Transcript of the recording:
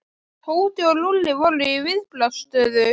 Tóti og Lúlli voru í viðbragðsstöðu.